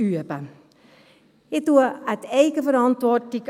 Ich appelliere an die Eigenverantwortung.